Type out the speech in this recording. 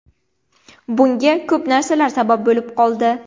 Bunga ko‘p narsalar sabab bo‘lib qoldi.